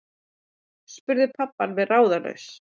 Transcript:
spurði pabbi alveg ráðalaus.